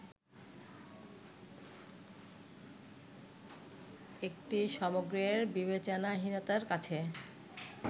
একটি সমগ্রের বিবেচনাহীনতার কাছে